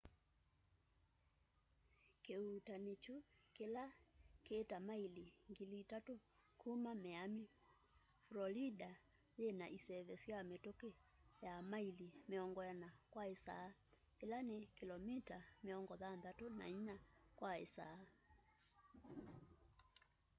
kiuutani kyu kila ki ta maili 3,000 kuma miami florida yina iseve sya mituki ya maili 40 kwa isaa ila ni kilomita 64 kwa isaa